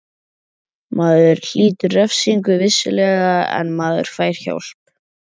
Maður hlýtur refsingu, vissulega, en maður fær hjálp.